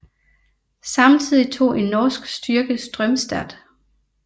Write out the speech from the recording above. Samtidig tog en norsk styrke Strömstad